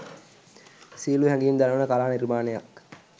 සියුම් හැඟීම් දනවන කලා නිර්මාණයක්